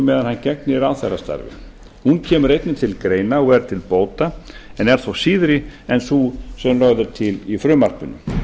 meðan hann gegnir ráðherrastarfi hún kemur einnig til greina og er til bóta en er þó síðri en sú sem lögð er til í frumvarpinu